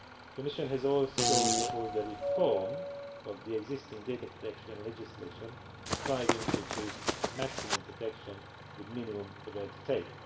The Commission has also proposed the reform of the existing data protection legislation, striving to achieve maximum protection with minimum red tape.